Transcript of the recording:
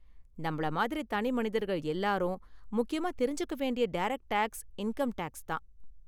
நம்மள மாதிரி தனிமனிதர்கள் எல்லாரும், முக்கியமா தெரிஞ்சுக்க வேண்டிய டேரக்ட் டேக்ஸ் இன்கம் டேக்ஸ் தான்.